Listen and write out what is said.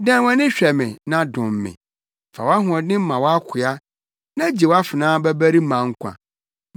Dan wʼani hwɛ me na dom me; fa wʼahoɔden ma wʼakoa na gye wʼafenaa babarima nkwa.